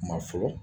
Kuma fɔlɔ